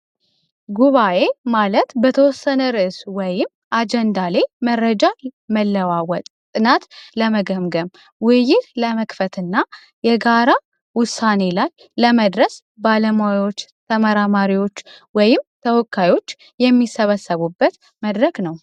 ጉባኤ ማለት በተወሰነ ርእሶ ወይም ደግሞ አጀንዳ ላይ መለዋወጥና ለመገምገም ውይይት ለመክፈትና የጋራ ውሳኔ ላይ ለመድረስ ባለሙያዎች ተመራማሪዎች ወይም ተወካዮች የሚሰበሰቡበት መድረክ ነው።